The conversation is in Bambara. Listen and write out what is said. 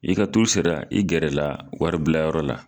I ka turu sera i gɛrɛ la wari bila yɔrɔ la